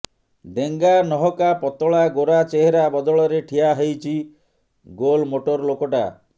ଡେଙ୍ଗା ନହକା ପତଳା ଗୋରା ଚେହେରା ବଦଳରେ ଠିଆ ହେଇଛି ଗୋଲମୋଟଲ୍ ଲୋକଟା